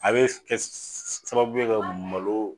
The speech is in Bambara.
A be kɛ sababu ye ka malo